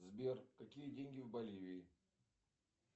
сбер какие деньги в боливии